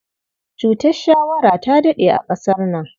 Cutar shawara ta daɗe a ƙasar nan.